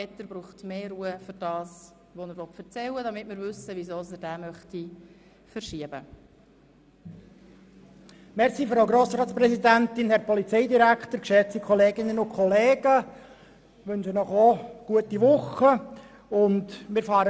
Etter braucht etwas mehr Ruhe für das, was er sagen möchte, damit wir verstehen, warum er dieses Traktandum verschieben möchte.